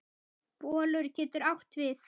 Bolur getur átt við